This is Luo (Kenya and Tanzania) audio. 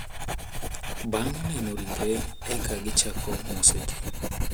Bang` neno ringre eka gichako moso ji.